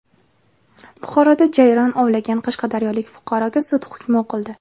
Buxoroda jayron ovlagan qashqadaryolik fuqaroga sud hukmi o‘qildi.